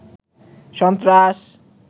সন্ত্রাস